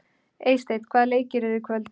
Eysteinn, hvaða leikir eru í kvöld?